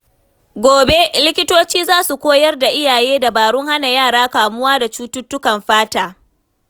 Gobe, likitoci za su koyar da iyaye dabarun hana yara kamuwa da cututtukan fata.